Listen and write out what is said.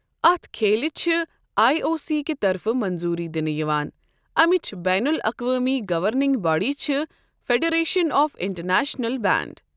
اتھ کھیلِہ چھِ آٮٔی او سی کہِ طرفہٕ منظوٗری دِنہٕ یِوان امیچ بین الاقوٲمی گورننگ باڈی چھِ فیڈریشن آف انٹرنیشنل بینڈ۔